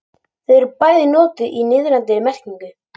þau eru bæði notuð í niðrandi merkingu